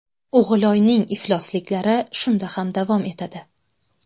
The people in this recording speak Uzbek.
O‘g‘iloyning iflosliklari shunda ham davom etadi.